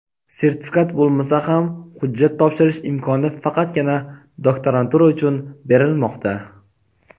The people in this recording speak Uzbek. Sertifikat bo‘lmasa ham hujjat topshirish imkoni faqatgina doktorantura uchun berilmoqda.